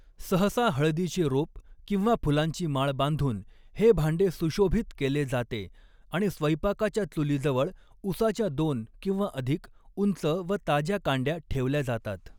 सहसा हळदीचे रोप किंवा फुलांची माळ बांधून हे भांडे सुशोभित केले जाते आणि स्वैपाकाच्या चुलीजवळ ऊसाच्या दोन किंवा अधिक, उंच व ताज्या कांड्या ठेवल्या जातात.